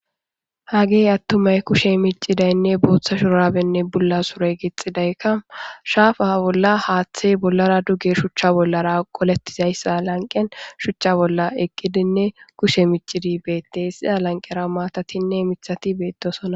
hagey attumay kushe micidaynne booththa shurabenne bulla sure gixxidaykka shaafa bolla haaththey bollara duge shuchcha bollara qolettizayssa lanqen shuchcha bolla eqqidinne kushe micidi beette sida lanqera maatatinne mithati beettosona